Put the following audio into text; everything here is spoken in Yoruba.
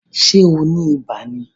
Ṣé o ni ibà ni?